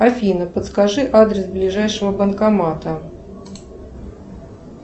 афина подскажи адрес ближайшего банкомата